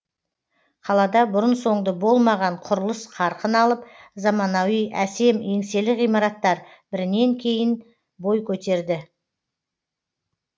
қалада бұрын соңды болмаған құрылыс қарқын алып заманауи әсем еңселі ғимараттар бірінен кейін бой көтерді